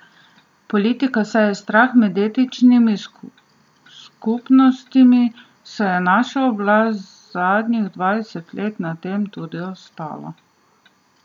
Politika seje strah med etničnimi skupnostmi, saj je naša oblast zadnjih dvajset let na tem tudi obstala.